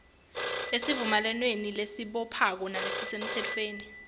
esivumelwaneni lesibophako nalesisemtsefweni